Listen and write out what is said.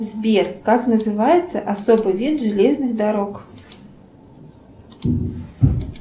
сбер как называется особый вид железных дорог